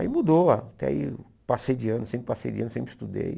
Aí mudou, até aí passei de ano, sempre passei de ano, sempre estudei.